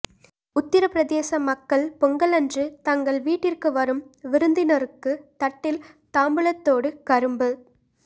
உத்திரப்பிரதேச மக்கள் பொங்கலன்று தங்கள் வீட்டிற்கு வரும் விருந்தினருக்கு தட்டில் தாம்பூலத்தோடு கரும்புத்